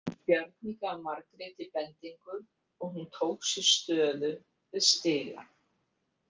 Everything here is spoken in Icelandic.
Bjarni gaf Margréti bendingu og hún tók sér stöðu við stigann.